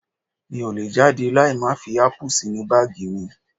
Mi ò lè jáde láì má fi ápù sínú báàgì mi